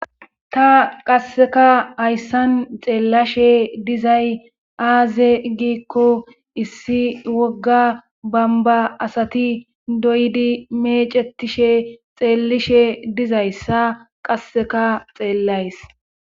ta qasseka hayssan xeellashe dizay aaze giikko issi wogga bamba asati doydi mecetishe xeelishe dizayssa qasseka xeellays